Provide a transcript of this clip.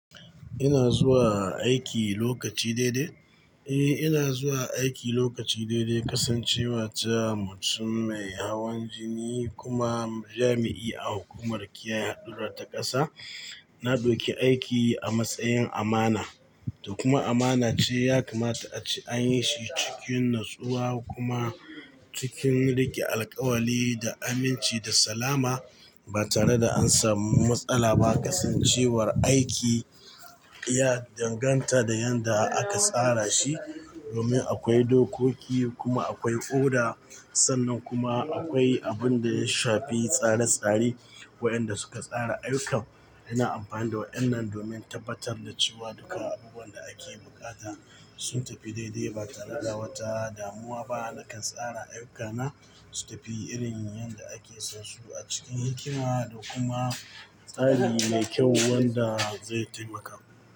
Ina zuwa aiki lokaci daidai. Eh, ina zuwa aiki lokaci daidai, kasancewa ta mutum mai hawan jini kuma jami'i a hukumar kiyaye haɗurar ta ƙasa. Na ɗauki aiki a matsayin amana, da kuma amana ce ya kamata ace an yi shi cikin natsuwa kuma cikin rike alkawali da aminci da salama ba tare da an samu matsala ba. Kasancewar aiki ya danganta da yadda aka tsara shi. Domin akwai dokoki kuma akwai oda. Sannan kuma akwai abin da ya shafi tsare-tsare wa'yanda suka tsara ayyukan. Ina amfani da wa'yannan domin tabbatar da cewa duka abubuwan da ake buƙata sun tafi daidai ba tare da wata damuwa ba. Nakan tsara ayyukana su tafi irin yadda ake so su a cikin hikima da kuma tsari mai kyau wanda zai taimaka.